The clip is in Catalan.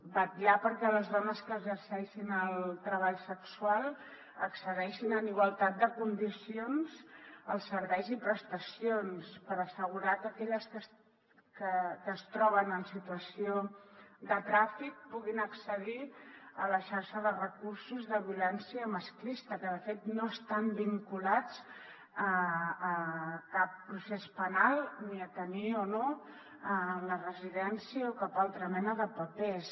vetllar perquè les dones que exerceixin el treball sexual accedeixin en igualtat de condicions als serveis i prestacions per assegurar que aquelles que es troben en situació de tràfic puguin accedir a la xarxa de recursos de violència masclista que de fet no estan vinculats a cap procés penal ni a tenir o no la residència o cap altra mena de papers